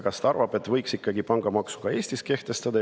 Kas ta arvab, et võiks Eestis ka ikkagi pangamaksu kehtestada?